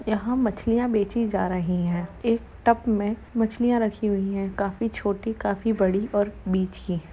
यहाँ मछलियाँ बेचीं जा रही है एक टप में मछलियाँ रखी हुई है काफी छोटी काफी बड़ी और बिछी --